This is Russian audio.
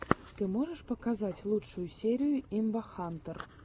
ты можешь показать лучшую серию имбахантэр